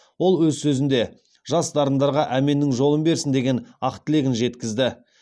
ол өз сөзінде жас дарындарға әменнің жолын берсін деген ақ тілегін жеткізді